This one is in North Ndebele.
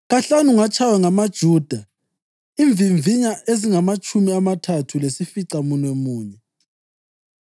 Kahlanu ngatshaywa ngamaJuda imvimvinya ezingamatshumi amathathu lesificamunwemunye.